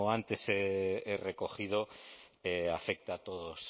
antes he recogido afecta a todos